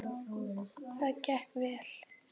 Það gekk vel.